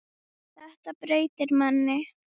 Þetta breytir manni.